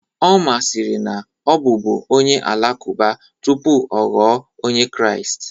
Omar sịrị na ọ bụ bú onye Alakụba tupu ọ ghọọ Onye Kraịst